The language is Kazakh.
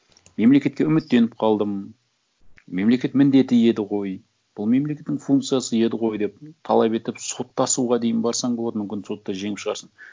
мемлекетке үміттеніп қалдым мемлекет міндеті еді ғой бұл мемлекеттің функциясы еді ғой деп талап етіп соттасуға дейін барсаң болады мүмкін сотта жеңіп шығарсың